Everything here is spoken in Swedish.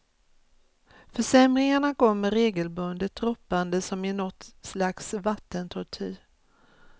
Försämringarna kommer regelbundet droppande som i nåt slags vattentortyr.